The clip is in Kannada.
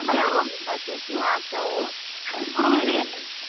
ಕೆಲ್ವೊನ್ದ್ buses ಗು ಆಗ್ತಾವು .